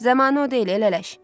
Zəmanə o deyil, elə eləş.